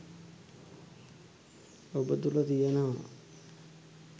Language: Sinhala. ඔබ තුළ තියෙනවා